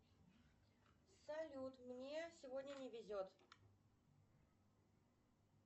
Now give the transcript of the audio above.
салют мне сегодня не везет